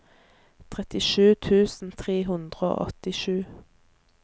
trettisju tusen tre hundre og åttisju